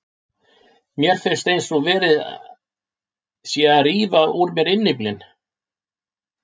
Mér finnst eins og sé verið að rífa úr mér innyflin.